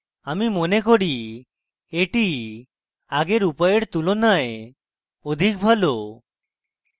আমি মনে করি এটি আগের উপায়ের তুলনায় অধিক ভালো